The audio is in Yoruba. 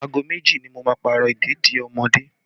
Aago méjì ni mo máa Pààrọ̀ ìdèdí ọmọdé